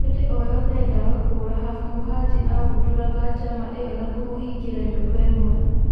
Hĩndĩ o-yothe endaga kũũra, Hafu Muhajĩ agũndũraga njama ĩyo na kũmũhingĩra nyũmba-ĩmwe.